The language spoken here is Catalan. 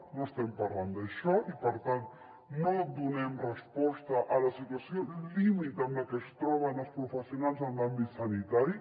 no estem parlant d’això i per tant no donem resposta a la situació límit en la que es troben els professionals en l’àmbit sanitari